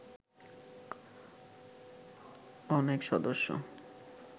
অনেক সদস্য